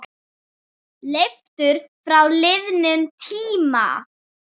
Leiftur frá liðnum tíma.